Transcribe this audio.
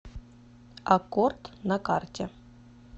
аккорд на карте